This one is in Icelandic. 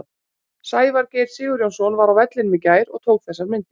Sævar Geir Sigurjónsson var á vellinum í gær og tók þessar myndir.